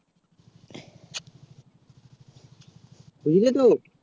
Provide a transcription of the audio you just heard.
বুঝলে তো